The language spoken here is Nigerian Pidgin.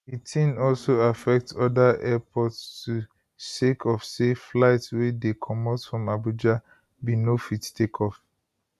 di tin also affect oda airports too sake of say flights wey dey comot from abuja bin no fit take off